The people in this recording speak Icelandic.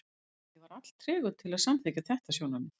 Ég var alltregur til að samþykkja þetta sjónarmið.